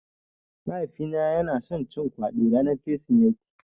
Mahaifina yana son cin kwaɗi ranar Kirsimeti.